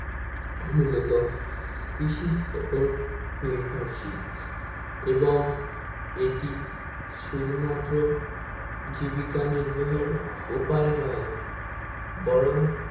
মূলত কৃষির উপর নির্ভরশীল এবং এটি শুধু মাত্র জীবিকা নর্ভয়ের উপায় নয় বরং